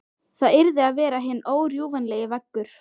Það yrði að vera hinn órjúfanlegi veggur.